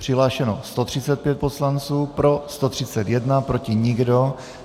Přihlášeno 135 poslanců, pro 131, proti nikdo.